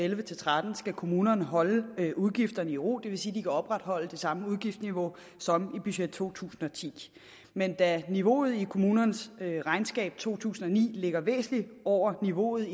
elleve til tretten skal kommunerne holde udgifterne i ro det vil sige at de kan opretholde det samme udgiftsniveau som i budget to tusind og ti men da niveauet i kommunernes regnskab for to tusind og ni ligger væsentligt over niveauet